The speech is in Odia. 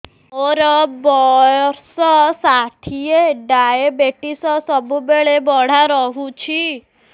ମୋର ବର୍ଷ ଷାଠିଏ ଡାଏବେଟିସ ସବୁବେଳ ବଢ଼ା ରହୁଛି